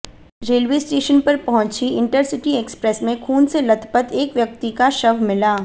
railway station पर पहुंची intercity express में खुन से लथपथ एक व्यक्ति का शव मिला